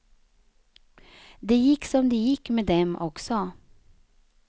Det gick som det gick med dem också.